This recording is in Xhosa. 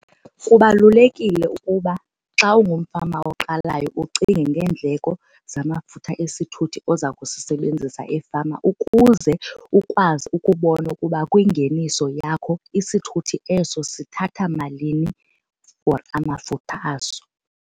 Kubalulekile ukuba xa ungumfama oqalayo ucinge ngeendleko zamafutha esithuthi oza kusisebenzisa efama ukuze ukwazi ukubona ukuba kwingeniso yakho isithuthi eso sithatha malini for amafutha aso.